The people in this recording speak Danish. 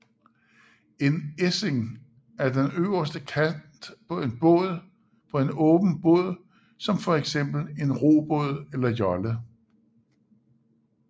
En essing er den øverste kant på en åben båd som for eksempel en robåd eller jolle